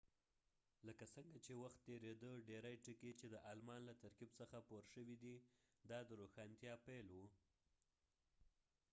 لکه څنګه چې وخت تیریده ډیری ټکي چې د آلمان له ترکیب څخه پور شوي دي دا د روښانتیا پیل و